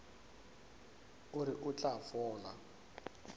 o re o tla fola